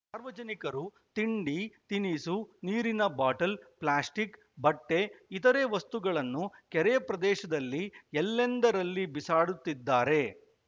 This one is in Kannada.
ಸಾರ್ವಜನಿಕರು ತಿಂಡಿ ತಿನಿಸು ನೀರಿನ ಬಾಟಲ್‌ ಪ್ಲಾಸ್ಟಿಕ್‌ ಬಟ್ಟೆ ಇತರೆ ವಸ್ತುಗಳನ್ನು ಕೆರೆ ಪ್ರದೇಶದಲ್ಲಿ ಎಲ್ಲೆಂದರಲ್ಲಿ ಬಿಸಾಡುತ್ತಿದ್ದಾರೆ